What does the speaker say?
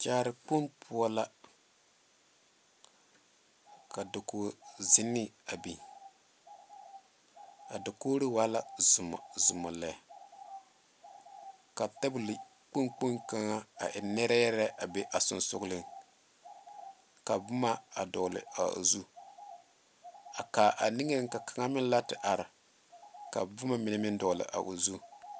Kyaara kpoŋ poɔ la ka dakogi zenne a biŋ a dakogri waa la zɔmazɔma lɛ ka tabol kpoŋ kpoŋ kaŋa a e nerɛ lɛ a be a sonsogre ka boma a dogle a o zu a kaa a niŋe ka kaŋa meŋ la a te are ka boma mine meŋ dogle a o zu.